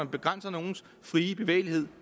begrænser nogens frie bevægelighed